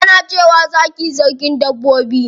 Ana cewa zaki sarkin dabbobi.